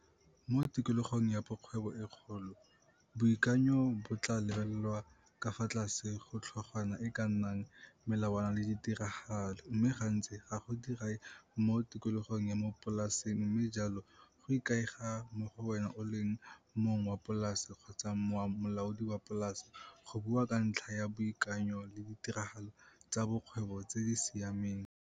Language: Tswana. Mo tikologong ya bokgwebo e kgolo boikanyo bo tlaa lebelelwa ka fa tlase go tlhogwana e e ka nnang Melawana le Ditiragalo, mme gantsi ga go diragae mo tikologong ya mo polaseng mme jalo go ikaega mo go wena o le mong wa polase kgotsa molaodi wa polase go bua ka ntlha ya boikanyo le ditiragalo tsa bokgwebo tse di siameng.